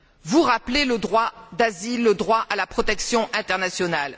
Vous rappelez le droit d'asile, le droit à la protection internationale.